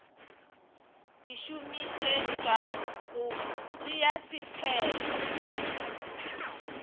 di šomišetšwa go tšea sephetho